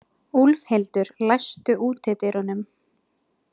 Úlfhildur, læstu útidyrunum.